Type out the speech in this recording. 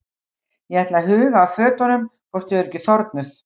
Ég ætla að huga að fötunum hvort þau eru ekki þornuð.